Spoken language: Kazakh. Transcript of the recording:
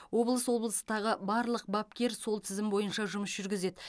облыс облыстағы барлық бапкер сол тізім бойынша жұмыс жүргізеді